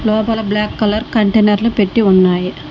లోపల black colour container లు పెట్టి ఉన్నాయి.